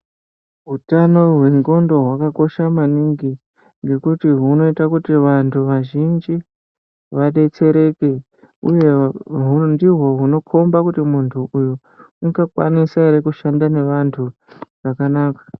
Hutano hwendxondo hakakosha maningi ngekuti hunoita kuti vantu vazhinji vabetsereke, uye ndiho hunokomba kuti muntu uyu ungakwanisa ere kuti vashanda nevantu zvakanaka.